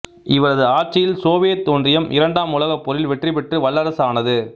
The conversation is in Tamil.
இவரது ஆட்சியில் சோவியத் ஒன்றியம் இரண்டாம் உலகப் போரில் வெற்றிபெற்று வல்லரசு ஆனது